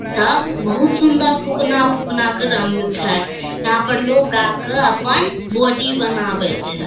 सब बहुत सुंदर फुकना-फुकना के रंग छै यहाँ पर लोग आके अपन बॉडी बनावे छै।